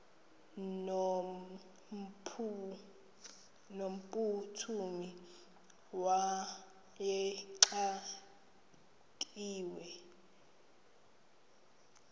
no mphuthumi wayexakiwe